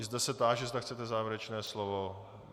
I zde se táži, zda chcete závěrečné slovo.